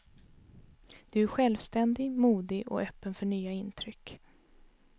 Du är självständig, modig och öppen för nya intryck.